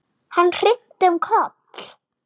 Hann hnyti um koll!